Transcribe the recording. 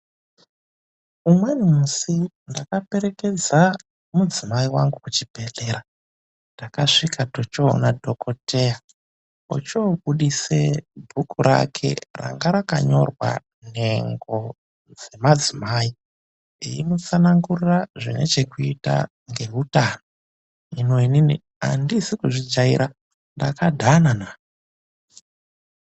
Umweni musi ndakaperekedza mudzimai wangu kuchibhedhlera. Takasvika, tochoona dhokodheya, ochoobudisa bhuku rake ranga rakanyorwa nthengo dzemadzimai. Eimutsanangurira zvine chekuita ngeutano. Hino inini andizi kuzvijaera, ndakadhana na.